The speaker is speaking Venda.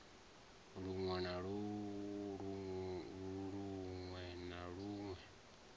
lun we na lun we